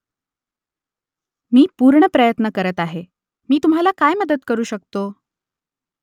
मी पूर्ण प्रयत्न करत आहे मी तुम्हाला काय मदत करू शकतो ?